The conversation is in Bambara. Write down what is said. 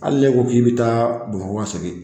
Hali n'e ko k'i bɛ taa Bamakɔ segin